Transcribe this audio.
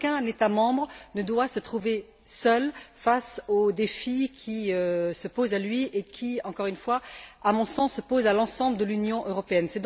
Aucun État membre ne doit se trouver seul face aux défis qui se posent à lui et qui, encore une fois, à mon sens, se posent à l'ensemble de l'Union européenne.